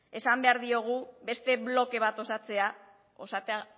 esan behar diogu beste bloke bat